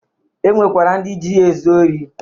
E nwekwara ndị ji ya ezu ori.